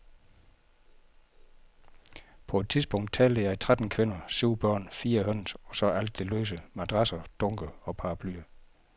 På et tidspunkt talte jeg tretten kvinder, syv børn, fire høns, og så alt det løse, madrasser, dunke, paraplyer.